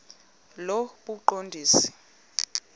lobuqondisi